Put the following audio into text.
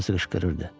Hamısı qışqırırdı.